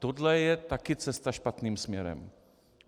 Tohle je taky cesta špatným směrem.